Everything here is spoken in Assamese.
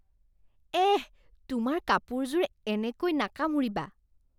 এহ, তোমাৰ কাপোৰযোৰ এনেকৈ নাকামুৰিবা।